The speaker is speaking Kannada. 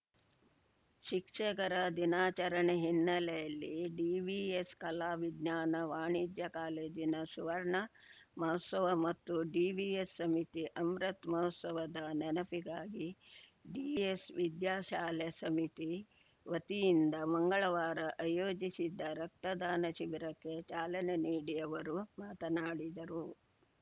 ಶಿಕ್ಷಕರ ದಿನಾಚರಣೆ ಹಿನ್ನೆಲೆಯಲ್ಲಿ ಡಿವಿಎಸ್‌ ಕಲಾ ವಿಜ್ಞಾನ ವಾಣಿಜ್ಯ ಕಾಲೇಜಿನ ಸುವರ್ಣ ಮಹೋತ್ಸವ ಮತ್ತು ಡಿವಿಎಸ್‌ ಸಮಿತಿ ಅಮೃತ್ ಮಹೋತ್ಸವದ ನೆನಪಿಗಾಗಿ ಡಿವಿಎಸ್‌ ವಿದ್ಯಾಶಾಲಾ ಸಮಿತಿ ವತಿಯಿಂದ ಮಂಗಳವಾರ ಆಯೋಜಿಸಿದ್ದ ರಕ್ತದಾನ ಶಿಬಿರಕ್ಕೆ ಚಾಲನೆ ನೀಡಿ ಅವರು ಮಾತನಾಡಿದರು